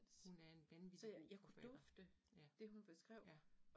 Hun er en vanvittig god forfatter, ja, ja